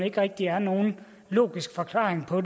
ikke rigtig er nogen logisk forklaring på